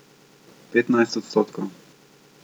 Petnajst odstotkov.